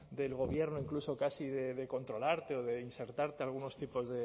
del gobierno incluso casi de controlarte o de insertarte algunos tipos